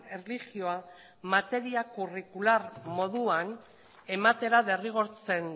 erlijioa materia kurrikular moduan ematera derrigortzen